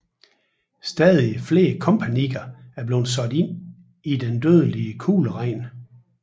Stadig flere kompagnier blev sat ind i den dødelige kugleregn